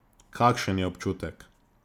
Kakšen je občutek?